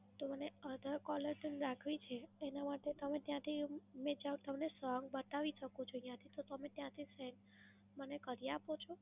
તો મને other caller tune રાખવી છે એના માટે તમે ત્યાંથી તમને song બતાવી શકું છું અહીયાંથી તો તમે ત્યાંથી set મને કરી આપો છો.